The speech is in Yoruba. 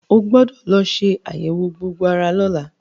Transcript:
O gbọ́dọ̀ lọ ṣe àyẹ̀wò gbogbo ara lọ́la.